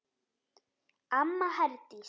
Amma Herdís.